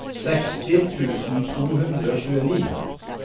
seksti tusen to hundre og tjueni